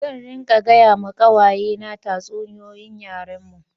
Zan ringa gaya ma kawaye ne tatsuniyoyin yaren mu